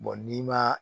n'i ma